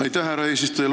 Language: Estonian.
Aitäh, härra eesistuja!